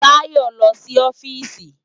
Tayo n lò si òfìsí